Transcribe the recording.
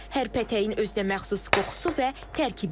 Hər pətəyin özünəməxsus qoxusu və tərkibi var.